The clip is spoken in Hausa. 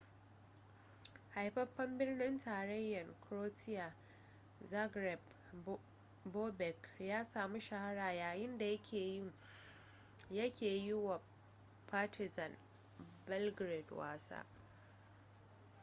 haifafen birnin tarayyan croatia zagreb bobek ya samu shahara yayinda yake yi wa partizan belgrade wasa